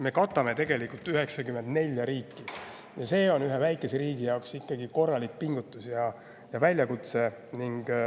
Me katame tegelikult 94 riiki ja see on ühe väikese riigi jaoks korralik pingutus ja väljakutse.